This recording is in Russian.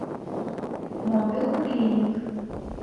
мобил клиник